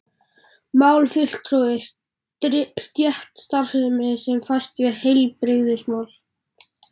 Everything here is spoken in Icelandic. mál,-fulltrúi,-stétt starfsstétt sem fæst við heilbrigðismál